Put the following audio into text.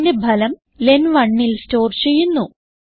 ഇതിന്റെ ഫലം len1ൽ സ്റ്റോർ ചെയ്യുന്നു